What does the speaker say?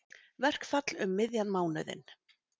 Verkfall um miðjan mánuðinn